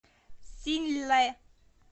синьлэ